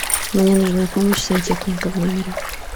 мне нужна помощь сантехника в номере